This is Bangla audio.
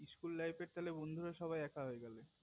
school life এর তালে বন্ধুরা সবাই এক হয়ে গেলো